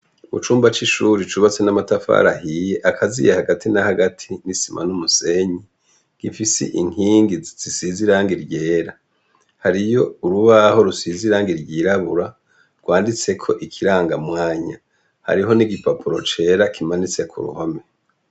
Mu cumba c'ishuri cubatse n'amatafari ahiye, akaziye hagati na hagati, n'isima n'umusenyi, ifise inkingi zisize irangi ryera. Hariyo urubaho rusize irangi ryirabura banditseko ikiranga mwanya. Hariho n'igipapuro cera kimanitse ku ruhome.